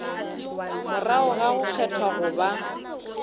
morago ga go kgethwa goba